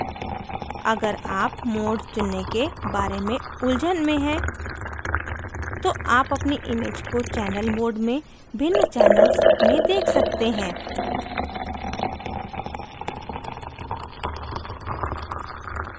अगर आप mode चुनने के बारे में उलझन में हैं तो आप अपनी image को चैनल mode में भिन्न channels में देख सकते हैं